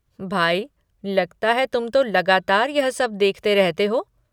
भाई, लगता है तुम तो लगातार यह सब देखते रहते हो।